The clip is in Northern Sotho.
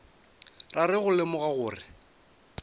ra re go lemoga gore